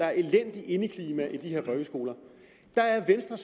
er elendigt indeklima i de her folkeskoler venstres